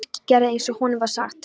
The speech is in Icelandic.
Birkir gerði eins og honum var sagt.